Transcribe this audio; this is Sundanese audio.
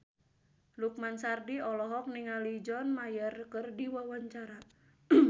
Lukman Sardi olohok ningali John Mayer keur diwawancara